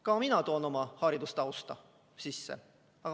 Ka mina toon siis oma haridustausta.